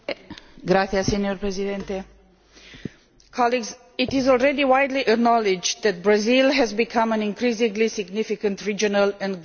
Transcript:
Mr President, it is already widely acknowledged that Brazil has become an increasingly significant regional and global player.